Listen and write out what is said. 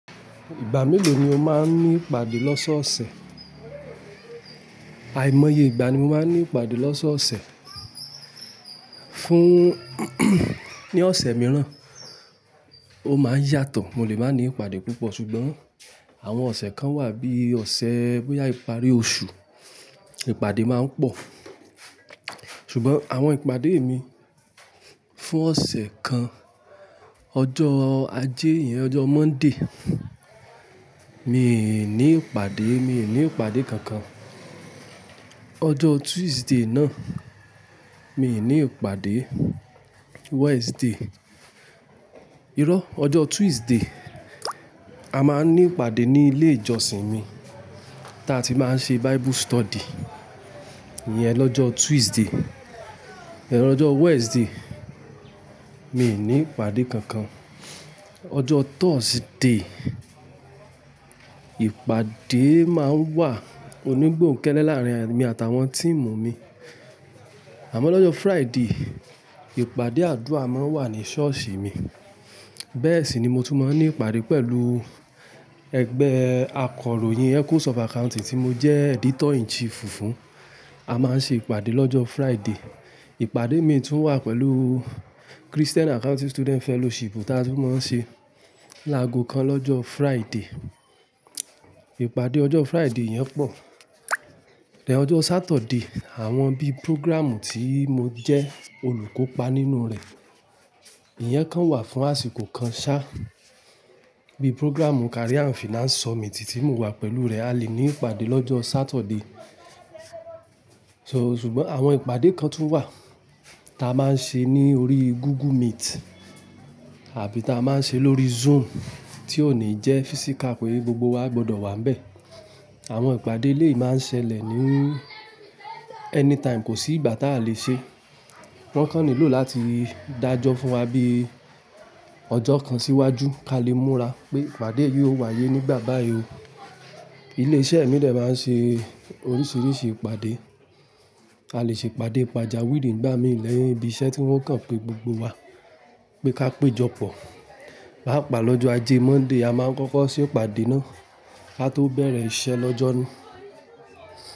Ìgbà mélòó ni o máa ń ní ìpàdé lọ́sọ̀ọ̀sẹ̀? Àìmọye ìgbà ni mo máa ń ní ìpàdé lọ́sọ̀ọ̀sẹ̀. Fún ní ọ̀sẹ̀ mìíràn, ó máa ń yàtọ̀. Mo lè má ní ìpàdé púpọ̀ ṣùgbọ́n àwọn ọ̀sẹ̀ kan wà bí i ọ̀sẹ̀ bóyá ìparí oṣù, ìpàdé máa ń pọ̀. Ṣùgbọ́n àwọn ìpàdé mi fún ọ̀sẹ̀ kan, ọjọ́ ajé yẹn, ọjọ́ Monday, mi ì ní ìpàdé, mi ì ní ìpàdé kankan. Ọjọ́ Tuesday náà, mi ì ní ìpàdé. Wednesday-- irọ́, ọjọ́ Tuesday, a máa ń ní ìpàdé ní ilé ìjọsìn mi tí a ti máa ń ṣe Bible study. Iyẹn lọ́jọ́ Tuesday, lọ́jọ́ Wednesday, mi ì ní ìpàdé kankan. Ọjọ́ Thursday, ìpàdé máa ń wà onígbòhunkẹ́lẹ́ láàrin èmi àtàwọn team mi. Àmọ́ lọ́jọ́ Friday, ìpàdé àdúrà máa ń wà ní ṣọ́ọ̀ṣì mi. Bẹ́ẹ̀ sì ni mo tún máa ń ní ìpàdé pẹ̀lú ẹgbẹ́ akọ̀ròyìn Echoes of Accounting tí mo jẹ́ editor in chief fún. A máa ń ṣe ìpàdé lọ́jọ́ Friday. Ìpàdé mi tún wà pẹ̀lú Christian Accounting Student Fellowship tí a tún máa ń ṣe láago kan lọ́jọ́ Friday. Ìpàdé ọjọ́ Friday yẹn pọ̀. Ọjọ́ Saturday, àwọn bí program tí mo jẹ́ olùkópa nínú rẹ̀, iyẹn kan wà fún àsìkò kan ṣá. Bíi program Career and Finance Summit tí mo wà pẹ̀lú rẹ̀, a lè ní ìpàdé lọ́jọ́ Saturday. So ṣùgbọ́n àwọn ìpàdé kan tún wà ta máa ń ṣe ní orí Google Meet àbí ta máa ń ṣe lórí Zoom tí ó ní jẹ́ physical pé gbogbo wa gbọdọ̀ wà níbẹ̀. Àwọn ìpàdé eleyìí máa ń ṣẹlẹ̀ ní anytime, kò sí ìgbà táa lè ṣe. Wọ́n kàn nílò láti dájọ́ fún wa bí ọjọ́ kan síwájú kí a lè múra pé ìpàdé yìí ó wáyé nígbà bá yii ó. Ilé iṣẹ́ mi lè máa ń ṣe oríṣìíríṣìí ìpàdé. A lè ṣe ìpàdé pàjàwìrì nígbà mìí níbi iṣẹ́ tí wọ́n kàn pé gbogbo wa pé ká péjọpọ̀. Paápaa lọ́jọ́ ajé Monday, a máa ń kọ́kọ́ ṣe ìpàdé náà ká tó bẹ̀rẹ̀ iṣẹ́ lọ́jọ́ ni.